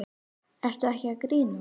Ertu ekki að grínast?